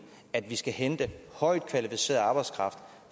at vi skal hente højtkvalificeret arbejdskraft